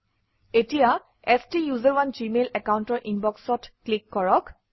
এতিয়া ষ্টাচাৰণে জিমেইল একাউণ্টৰ ইনবক্সত ক্লিক কৰক